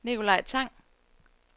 Nicolaj Tang